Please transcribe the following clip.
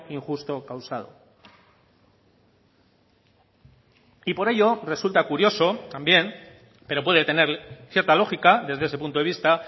injusto causado y por ello resulta curioso también pero puede tener cierta lógica desde ese punto de vista